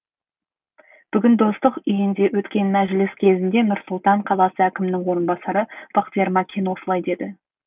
бүгін достық үйінде өткен мәжіліс кезінде нұр сұлтан қаласы әкімінің орынбасары бақтияр макен осылай деді